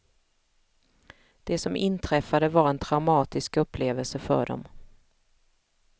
Det som inträffade var en traumatisk upplevelse för dem.